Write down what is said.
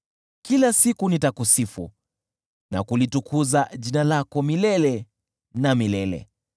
Kila siku nitakusifu na kulitukuza jina lako milele na milele.